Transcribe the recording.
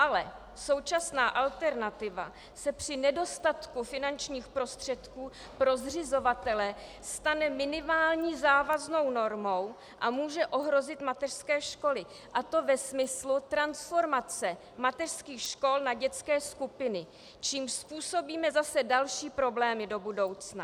Ale současná alternativa se při nedostatku finančních prostředků pro zřizovatele stane minimální závaznou normou a může ohrozit mateřské školy, a to ve smyslu transformace mateřských škol na dětské skupiny, čímž způsobíme zase další problémy do budoucna.